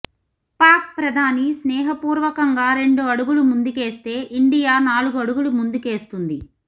పాక్ ప్రధాని స్నేహపూర్వకంగా రెండు అడుగులు ముందుకేస్తే ఇండియా నాలుగు అడుగులు ముందుకేస్తుంది